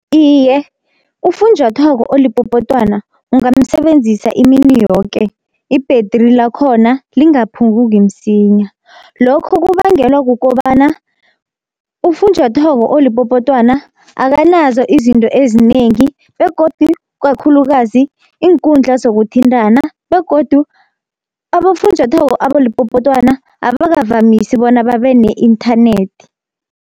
Iye ufunjathwako olipopotwana ungamsebenzisa imini yoke ibhetri lakhona lingaphunguki msinya. Lokho kubangelwa kukobana ufunjathwako olipopotwana akanazo izinto ezinengi, begodu kakhulukazi iinkundla zokuthintana. Begodu abofunjathwako abalipopotwana abakavamisi bona babe ne-inthanethi.